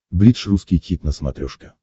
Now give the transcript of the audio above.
бридж русский хит на смотрешке